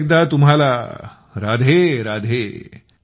पुन्हा एकदा तुम्हाला राधेराधे